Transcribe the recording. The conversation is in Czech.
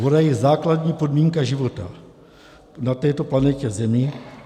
Voda je základní podmínka života na této planetě Zemi.